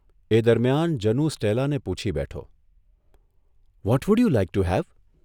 એ દરમિયાન જનુ સ્ટેલાને પૂછી બેઠોઃ ' what would you like to have?